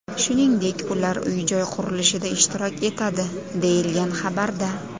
Shuningdek, ular uy-joy qurilishida ishtirok etadi”, deyilgan xabarda.